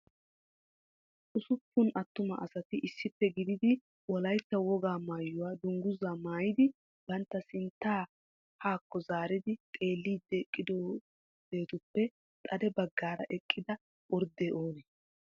ussuppun attuma asati issippe gidid wolayta wogaa maayyuwa dungguza maayyidi bantta sintta haakko zaaridi xeellidi eqqidaageetuppe xade baggaara eqqida orddee oonee?